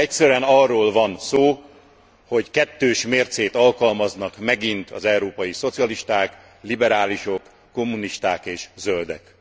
Egyszerűen arról van szó, hogy kettős mércét alkalmaznak megint az európai szocialisták, liberálisok, kommunisták és zöldek.